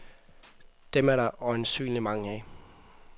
Dem er der øjensynlig mange af.